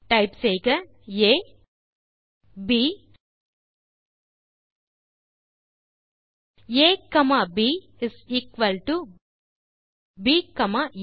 type செய்க A பின் B பின் A comma B is equal to B comma ah